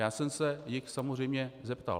Já jsem se jich samozřejmě zeptal.